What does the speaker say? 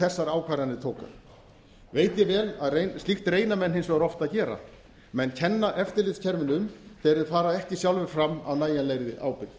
þessar ákvarðanir tóku veit ég vel að slíkt reyna menn hins vegar oft að gera menn kenna eftirlitskerfinu um þegar þeir fara ekki sjálfir fram af nægjanlegri ábyrgð þá er fróðlegt að